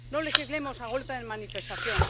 No legislemos a golpe de manifestación.